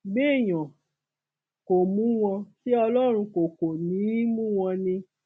béèyàn kò mú wọn ṣẹ ọlọrun kò kò ní í mú wọn ni